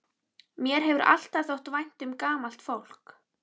Mér hefur alltaf þótt vænt um gamalt fólk.